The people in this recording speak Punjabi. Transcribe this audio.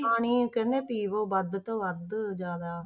ਪਾਣੀ ਕਹਿੰਦੇ ਆ ਪੀਵੋ ਵੱਧ ਤੋਂ ਵੱਧ ਜ਼ਿਆਦਾ।